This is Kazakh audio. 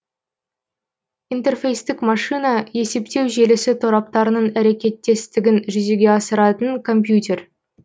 интерфейстік машина есептеу желісі тораптарының әрекеттестігін жүзеге асыратын компьютер